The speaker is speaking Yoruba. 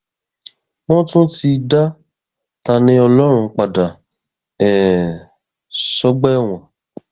wọn ti tún dá taníọlọrun padà um sọgbà ẹwọn